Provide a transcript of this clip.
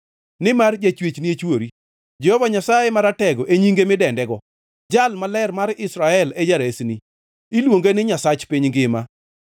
Nimar Jachwechni e chwori, Jehova Nyasaye Maratego e nyinge midendego, Jal Maler mar Israel e Jaresni; iluonge ni Nyasach piny ngima.